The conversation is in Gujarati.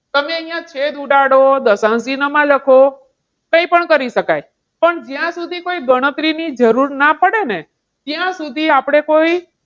તમે અહીંયા છેદ ઉડાડો, દશાંશ ચિન્હમાં લખો, કંઈ પણ કરી શકાય. પણ જ્યાં સુધી કોઈ ગણતરીની જરૂર ના પડે ને ત્યાં સુધી આપણે કોઈ,